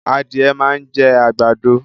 Adìẹ máa ń jẹ́ àgbàdo